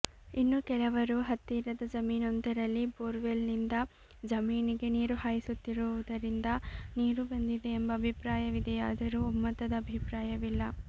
ಇನ್ನು ಕೆಲವರು ಹತ್ತಿರದ ಜಮೀನೊಂದರಲ್ಲಿ ಬೋರ್ವೆಲ್ಲ್ ನಿಂದ ಜಮೀನಿಗೆ ನೀರು ಹಾಯಿಸುತ್ತಿರುವುದರಿಂದ ನೀರು ಬಂದಿದೆ ಎಂಬ ಅಭಿಪ್ರಾಯವಿದೆಯಾದರೂ ಒಮ್ಮತದ ಅಭಿಪ್ರಾಯವಿಲ್ಲ